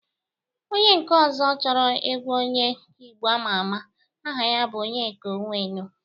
Onye nke ọzọ chọrọ egwu onye Igbo ama ama. Aha ya bụ Onyeka Ọnwenu